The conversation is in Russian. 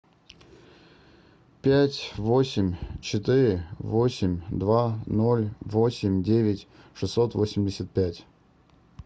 пять восемь четыре восемь два ноль восемь девять шестьсот восемьдесят пять